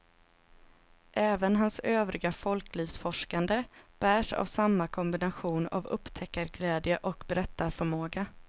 Även hans övriga folklivsforskande bärs av samma kombination av upptäckarglädje och berättarförmåga.